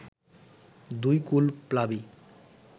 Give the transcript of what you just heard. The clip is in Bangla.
দুই কুল প্লাবী